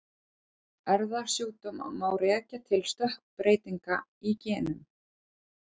Erfðasjúkdóma má rekja til stökkbreytinga í genum.